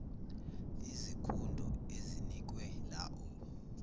izikhundo ezinikwe laow